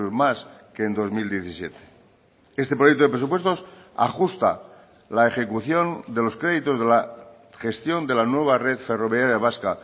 más que en dos mil diecisiete este proyecto de presupuestos ajusta la ejecución de los créditos de la gestión de la nueva red ferroviaria vasca